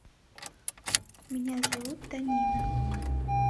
меня зовут танина